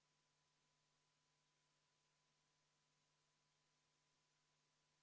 Siin on välja toodud, et need on Riigikogu liikmed, Riigikogu fraktsioonid ja Riigikogu komisjonid ning Vabariigi Valitsus saab samuti seda teha.